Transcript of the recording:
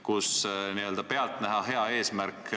... kus n-ö pealtnäha hea eesmärk ...